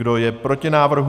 Kdo je proti návrhu?